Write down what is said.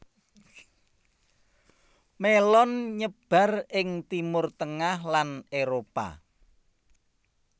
Mélon nyebar ing Timur tengah lan Éropah